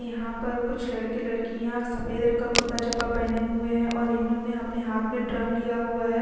यहाँ पर कुछ लड़के लडकियाँ सफ़ेद रंग का कुर्ता जामा पहने हुए है और इन्होने अपने हाथ में ड्रम लिया हुआ है।